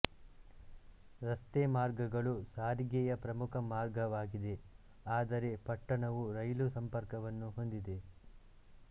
ರಸ್ತೆಮಾರ್ಗಗಳು ಸಾರಿಗೆಯ ಪ್ರಮುಖ ಮಾರ್ಗವಾಗಿದೆ ಆದರೆ ಪಟ್ಟಣವು ರೈಲು ಸಂಪರ್ಕವನ್ನು ಹೊಂದಿದೆ